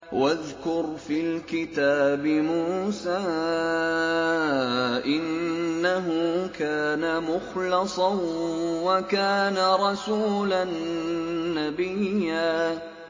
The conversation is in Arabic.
وَاذْكُرْ فِي الْكِتَابِ مُوسَىٰ ۚ إِنَّهُ كَانَ مُخْلَصًا وَكَانَ رَسُولًا نَّبِيًّا